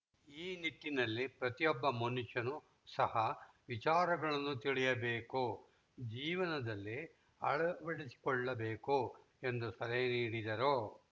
ಈ ನಿಟ್ಟಿನಲ್ಲಿ ಪ್ರತಿಯೊಬ್ಬ ಮನುಷ್ಯನು ಸಹ ವಿಚಾರಗಳನ್ನು ತಿಳಿಯಬೇಕು ಜೀವನದಲ್ಲಿ ಅಳವಡಿಸಿಕೊಳ್ಳಬೇಕು ಎಂದು ಸಲಹೆ ನೀಡಿದರು